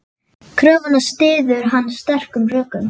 Kröfuna styður hann sterkum rökum.